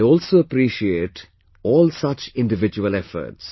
I also appreciate all such individual efforts